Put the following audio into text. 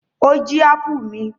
Ó jí ápù mi.